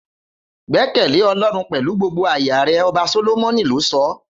Gbẹkẹle ọlọrun pẹlú gbogbo aya rẹ ọba solomoni lo sọ